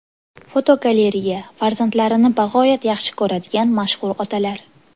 Fotogalereya: Farzandlarini bag‘oyat yaxshi ko‘radigan mashhur otalar.